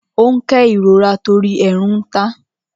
Ó ń ké ìrora torí èèrùn ta á.